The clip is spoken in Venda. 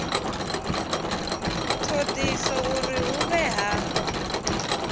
thodisiso uri hu vhe ha